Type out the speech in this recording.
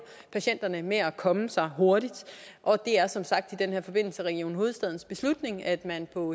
patienterne med at komme sig hurtigt og det er som sagt i den her forbindelse region hovedstadens beslutning at man på